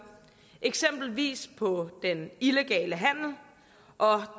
eksempelvis på den illegale handel og